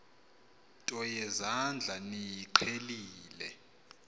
nto yezandla niyiqhelile